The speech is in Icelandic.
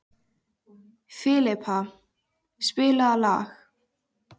Filippa, spilaðu lag.